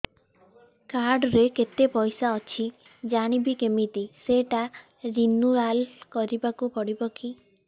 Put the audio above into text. card ରେ କେତେ ପଇସା ଅଛି ଜାଣିବି କିମିତି ସେଟା ରିନୁଆଲ କରିବାକୁ ପଡ଼ିବ କି